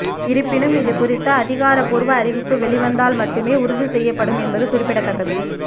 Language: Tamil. இருப்பினும் இதுகுறித்து அதிகாரபூர்வ அறிவிப்பு வெளிவந்தால் மட்டுமே உறுதி செய்யப்படும் என்பது குறிப்பிடத்தக்கது